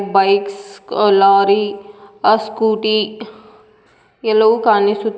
bikes ಅ lorry ಆ Scooty ಎಲ್ಲವೂ ಕಾಣಿಸು --